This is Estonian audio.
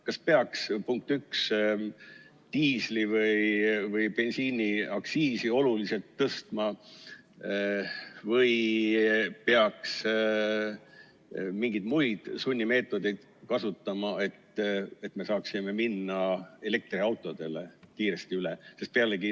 Kas peaks diisli- või bensiiniaktsiisi oluliselt tõstma või peaks mingeid muid sunnimeetodeid kasutama, et me saaksime minna elektriautodele kiiresti üle?